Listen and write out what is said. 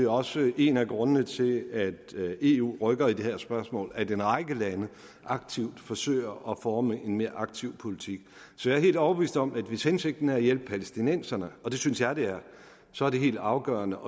også en af grundene til at eu rykker i det her spørgsmål at en række lande aktivt forsøger at forme en mere aktiv politik så jeg er helt overbevist om at hvis hensigten er at hjælpe palæstinenserne og det synes jeg den er så er det helt afgørende